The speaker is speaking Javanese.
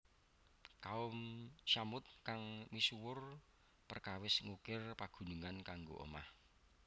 Kaum Tsamud kang misuwur perkawis ngukir pegunungan kanggo omah